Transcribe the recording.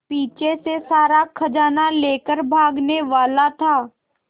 पीछे से सारा खजाना लेकर भागने वाला था